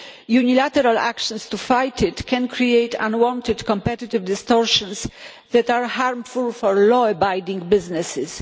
Unilateral actions to fight it can create unwanted competitive distortions that are harmful for law abiding businesses.